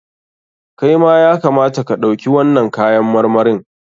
Kai ma ya kamata ka ɗauki wannan kayan marmarin.